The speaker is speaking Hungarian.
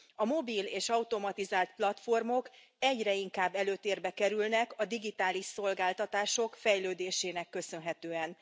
A mobil és automatizált platformok, egyre inkább előtérbe kerülnek a digitális szolgáltatások fejlődésének köszönhetően.